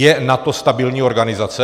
Je NATO stabilní organizace?